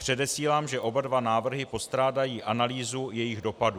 Předesílám, že oba dva návrhy postrádají analýzu jejich dopadů.